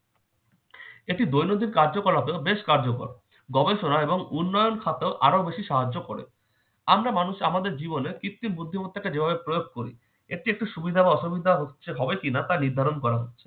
এটি দৈনন্দিন কার্যকলাপেও বেশ কার্যকর। গবেষণা এবং উন্নয়ন খাতে আরও বেশি সাহায্য করে। আমরা মানুষ আমাদের জীবনে কৃত্তিম বুদ্ধিমত্তাকে যেভাবে প্রয়োগ করি এরচেয়ে একটি সুবিধা এবং অসুবিধা হচ্ছে হবে কিনা তা নির্ধারণ করা।